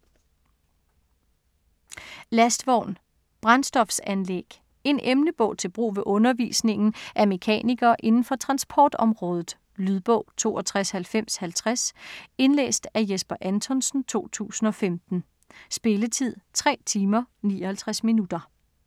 Lastvogn - Brændstofanlæg En emnebog til brug ved undervisningen af mekanikere inden for transportområdet. Lydbog 629050 Indlæst af Jesper Anthonsen, 2015. Spilletid: 3 timer, 59 minutter.